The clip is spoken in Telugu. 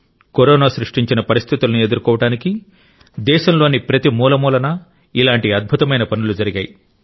కరోనా సృష్టించిన పరిస్థితులను ఎదుర్కోవడానికి దేశంలోని ప్రతి మూలమూలనా ఇలాంటి అద్భుతమైన పనులు జరిగాయి